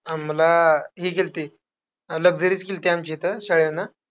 आम्हाला, हे गेल्ती, luxury च केल्ती आमच्या इथं शाळेनं.